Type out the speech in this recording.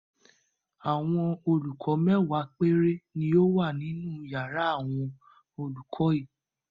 Àwọn olùkọ́ mẹ́wàá péré ni ó wà nínú ìyàrá àwọn olùkọ́ yìí.